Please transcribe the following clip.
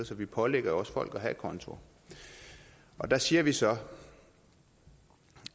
så vi pålægger jo folk at konto der siger vi så